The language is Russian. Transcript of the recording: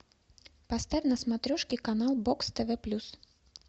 поставь на смотрешке канал бокс тв плюс